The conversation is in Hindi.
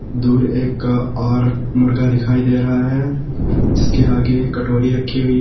दूर एक और मुर्गा दिखाई दे रहा है जिसके आगे एक कटोरी रखी हुई है।